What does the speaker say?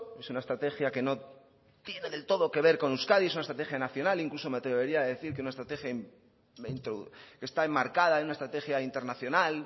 es una estrategia que no tiene del todo que ver con euskadi es una estrategia nacional incluso me atrevería a decir que es una estrategia que está enmarcada en una estrategia internacional